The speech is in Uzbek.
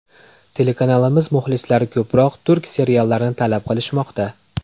Telekanalimiz muxlislari ko‘proq turk seriallarini talab qilishmoqda.